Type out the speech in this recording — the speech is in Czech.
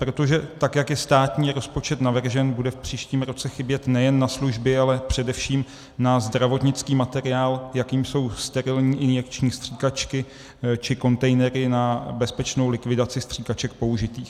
Protože tak jak je státní rozpočet navržen, bude v příštím roce chybět nejen na služby, ale především na zdravotnický materiál, jakým jsou sterilní injekční stříkačky či kontejnery na bezpečnou likvidaci stříkaček použitých.